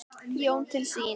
Jón til sín.